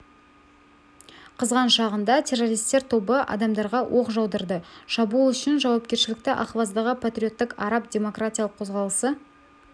қызған шағында террористер тобы адамдарға оқ жаудырды шабуыл үшін жауапкершілікті ахваздағы патриоттық араб демократиялық қозғалысы